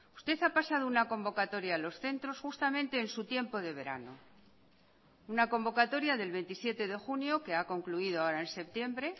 usted ha pasado una convocatoria a los centros justamente en su tiempo de verano una convocatoria del veintisiete de junio que ha concluido ahora en septiembre